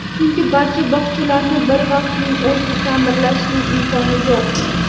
Chunki barcha bog‘chalarni bir vaqtning o‘zida ta’mirlashning imkoni yo‘q.